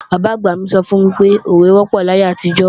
Bàbá-àgbà mi sọ fún mi pé, òwe wọ́pọ̀ láyé àtijọ́